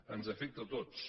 ens afecta a tots